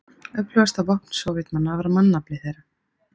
Öflugasta vopn Sovétmanna var mannafli þeirra.